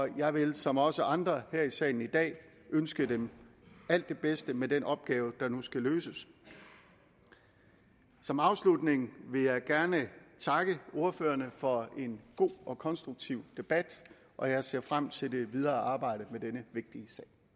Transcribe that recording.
jeg vil som også andre her i salen i dag ønske dem alt det bedste med den opgave der nu skal løses som afslutning vil jeg gerne takke ordførerne for en god og konstruktiv debat og jeg ser frem til det videre arbejde med denne vigtige